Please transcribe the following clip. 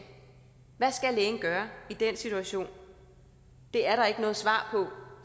hvad skal lægen gøre i den situation det er der ikke noget svar på